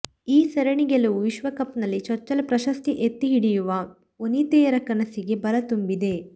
ಈ ಸರಣಿ ಗೆಲುವು ವಿಶ್ವಕಪ್ನಲ್ಲಿ ಚೊಚ್ಚಲ ಪ್ರಶಸ್ತಿ ಎತ್ತಿ ಹಿಡಿಯುವ ವನಿತೆಯರ ಕನಸಿಗೆ ಬಲ ತುಂಬಿದೆ